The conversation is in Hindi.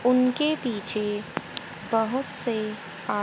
उनके पीछे बहोत से आ--